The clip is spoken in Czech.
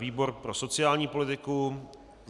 Výbor pro sociální politiku.